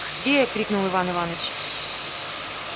ге крикнул иван иваныч